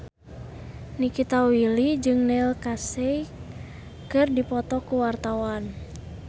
Nikita Willy jeung Neil Casey keur dipoto ku wartawan